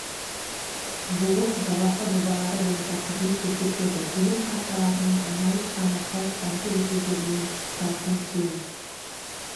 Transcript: жуық жалақы жобалары бойынша қызмет көрсетеді төлем карталарының айналыс саны халық банкі өкілдіктерден тұратын кең